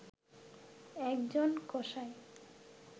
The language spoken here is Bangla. একজন কসাই